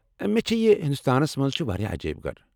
مےٚ چھےٚ پیہ ہندوستانس منٛز چھِ واریاہ عجٲیب گھر ۔